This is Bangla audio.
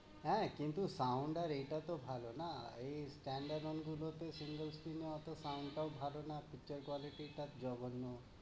হ্যাঁ কিন্তু sound আর এটাতো ভালো না? এই standard গুলোতে সুন্দর scene ও ওতো sound তাও ভালো না, picture quality জঘন্য।